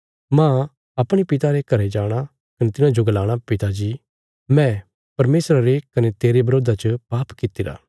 माह अपणे पिता रे घरें जाणा कने तिन्हाजो गलाणा पिता जी मैं परमेशरा रे कने तेरे बरोधा च पाप कित्तिरा